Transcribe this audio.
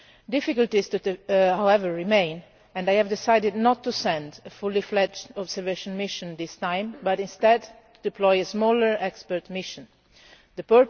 Difficulties, however, remain, and I have decided not to send a fully fledged observation mission this time but, instead, to deploy a smaller Expert Mission The